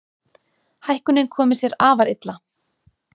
Hækkunin komi sér afar illa.